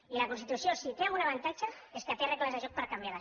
i la constitució si té algun avantatge és que té regles de joc per canviar la